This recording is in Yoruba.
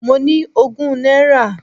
Mo ní ogún náírà.